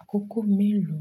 Àkókò mélòó?